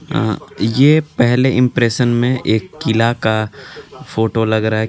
यह पहले इम्प्रेसन में किला का फोटो लग रहा है.